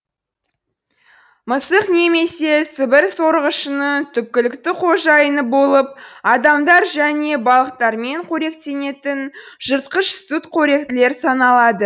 мысық немесе сібір сорғышының түпкілікті қожайыны болып адамдар және балықтармен қоректенетін жыртқыш сүтқоректілер саналады